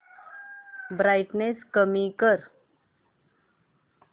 brightness कमी कर